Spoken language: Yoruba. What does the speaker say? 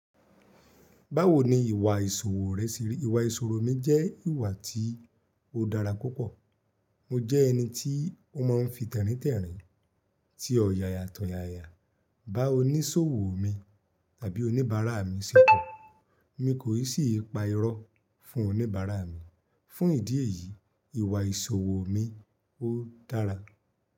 Báwo ni ìwà ìṣòwò rẹ ṣe rí? Ìwà ìṣòwò mi jẹ́ ìwà tí ó dára púpọ̀. Mo jẹ́ ẹni tí ó máa ń fi tẹ̀ríntẹ̀rín, tí ó yaya tọ̀yaya. Bá oníṣòwò mi tàbí oníbàárà mi ṣe kàn, mi kò ì ṣì pa irọ́ fún oníbàárà mi. Fún ìdí èyí, ìwà ìṣòwò mi ó dára.